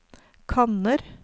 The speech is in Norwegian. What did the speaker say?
kanner